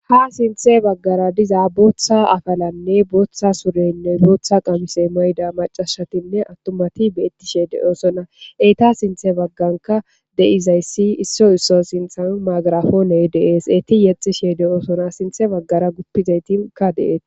ha sinthe baggara diza booththa afalanne booththa surenne booththa qamise mayda macashatinne attumati beettishe de'osona eta sinthe bagganka de'izayssi isso isso sinthanu maagarafooney de'ees eeti yexxishe de'osona sinthe baggara guppizaytika dee'es